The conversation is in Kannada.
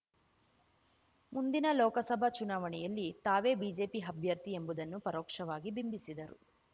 ಮುಂದಿನ ಲೋಕಸಭಾ ಚುನಾವಣೆಯಲ್ಲಿ ತಾವೇ ಬಿಜೆಪಿ ಅಭ್ಯರ್ಥಿ ಎಂಬುದನ್ನು ಪರೋಕ್ಷವಾಗಿ ಬಿಂಬಿಸಿದರು